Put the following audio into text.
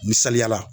Misaliyala